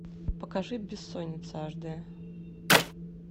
покажи бессонница аш дэ